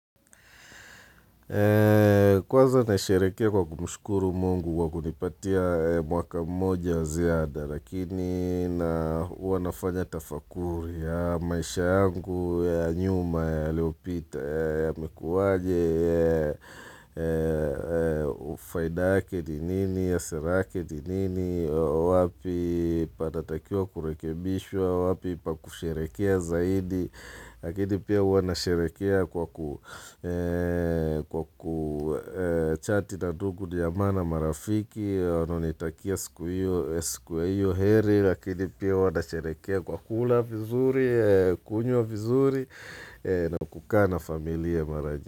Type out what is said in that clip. Kwanza naisherekea kwa kumshukuru mungu kwa kunipatia mwaka mmoja ziada lakini na hua nafanya tafakuri ya maisha yangu ya nyuma yaliyopita yamekuwa aje faida yake ni nini sera yake ni nini wapi panatakiwa kurekebishwa wapi pa kusherehekea zaidi Lakini pia huwa nasherehekea kwa kuchati na ndugu jamaa na marafiki wanaonitakia siku hiyo heri Lakini pia wanasherehekea kwa kula vizuri, kunywa vizuri na kukaa na familia mara.